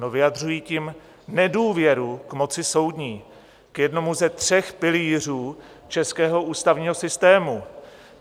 No, vyjadřují tím nedůvěru k moci soudní, k jednomu ze tří pilířů českého ústavního systému.